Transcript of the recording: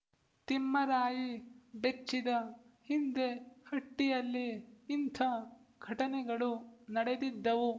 ತಿಮ್ಮರಾಯಿ ಬೆಚ್ಚಿದ ಹಿಂದೆ ಹಟ್ಟಿಯಲ್ಲಿ ಇಂಥ ಘಟನೆಗಳು ನಡೆದಿದ್ದವು